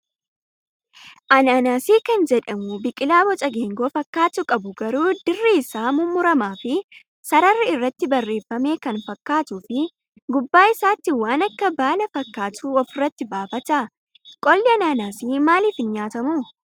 Anaanaasii kan jedhamu biqilaa boca geengoo fakkaatu qabu garuu dirri isaa mummuramaa fi sararri irratti baafame kan fakkaatuu fi gubbaa isaatti waan akka baala fakkaatu ofirratti baafata. Qolli anaanaasii maaliif hin nyaatamuu?